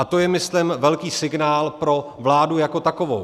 A to je, myslím, velký signál pro vládu jako takovou.